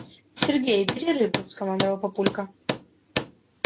сергей бери рыбу скомандовал папулька